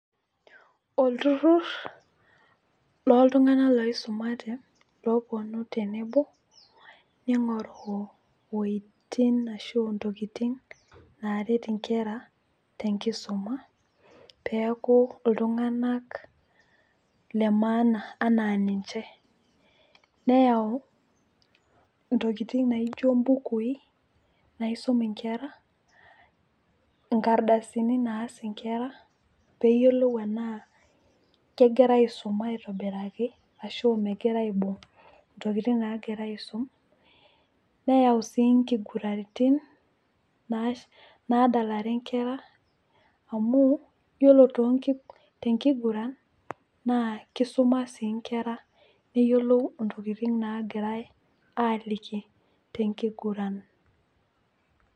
Olturrur loltung'anak loisumate neponu tenebo, ning'oru woitin ashu intokiting naret inkera tenkisuma, peeku iltung'anak lemaana anaa ninche. Neyau intokiting naijo ibukui, naisum inkera, inkardasini naas inkera peyiolou enaa kegirai aisuma aitobiraki, ashu megira aisum intokiting nagirai aisum, neyau si nkiguranitin nadalare nkera amu, yiolo tenkiguran, naa kisuma si nkera neyiolou intokiting nagirai aliki tenkiguran.